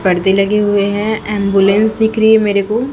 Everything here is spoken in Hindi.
पर्दे लगे हुए है एंबुलेंस दिख रही है मेरे को।